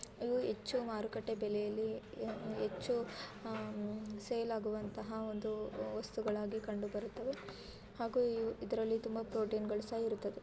ಇದು ಹೆಚ್ಚು ಮಾರುಕಟ್ಟೆ ಬೆಲೆಯಲ್ಲಿ ಅತಿ ಹೆಚ್ಚು ಸೇಲ್ ಆಗುವಂತಹ ವಸ್ತುಗಳು ಹಾಗಾದರೆ ತುಂಬಾ ಪ್ರೊಟೀನ್ ಗಳು ಸಹ ಇರುತ್ತದೆ